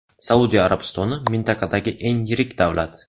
Saudiya Arabistoni mintaqadagi eng yirik davlat.